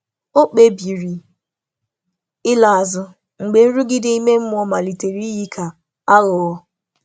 Ọ̀ kpebìrì ị̀la azụ mgbe nrụgide ime mmụọ malitere iyi ka aghụghọ.